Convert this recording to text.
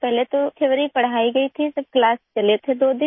पहले तो थियोरी पढ़ाई गई थी फिर क्लास चले थे दो दिन